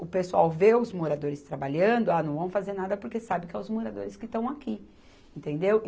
o pessoal vê os moradores trabalhando, ah, não vão fazer nada porque sabe que são os moradores que estão aqui, entendeu?